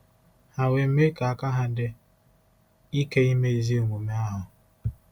Ha we me ka aka-ha di ike ime ezi omume ahu. ”